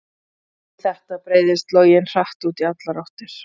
Við þetta breiðist loginn hratt út í allar áttir.